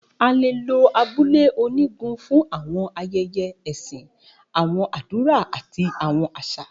A lo abule onigun fun awọn ayẹyẹ ẹsin, awọn adura, ati awọn aṣa.